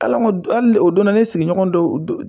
Ala ko hali ni o donna ne sigiɲɔgɔn dɔw